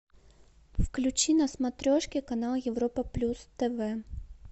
включи на смотрешке канал европа плюс тв